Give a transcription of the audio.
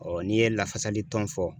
n'i ye lafasali tɔn fɔ